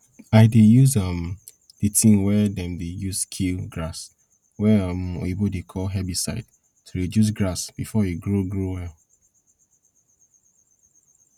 i dey use um di tin wey dem dey use kill grass wey um oyibo dey call herbicide to reduce grass before e grow grow well